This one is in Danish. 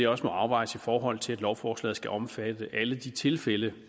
også må afvejes i forhold til at lovforslaget skal omfatte alle de tilfælde